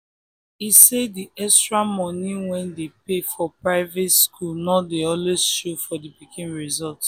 e say the extra money wey dem dey pay for private school no dey always show for the pikin result